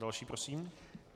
Další prosím.